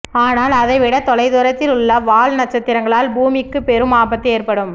ஆனால் அதைவிட தொலை தூரத்தில் உள்ள வால் நட்சத்திரங்களால் பூமிக்கு பெரும் ஆபத்து ஏற்படும்